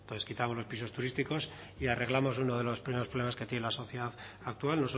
entonces quitamos los pisos turísticos y arreglamos uno de los primeros problemas que tiene la sociedad actual